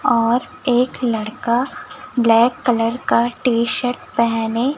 और एक लड़का ब्लैक कलर का टी-शर्ट पहने--